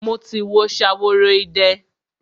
Mo ti wo Ṣaworoide.